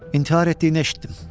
İntihar etdiyini eşitdim.